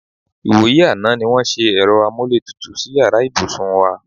Ìwòyí àná ní wó̩n wá s̩e è̩ro̩ amúlétutù sí yàrá ìbùsùn wa.-